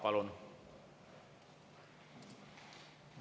Palun!